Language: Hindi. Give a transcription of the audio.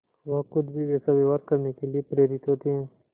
वह खुद भी वैसा व्यवहार करने के लिए प्रेरित होते हैं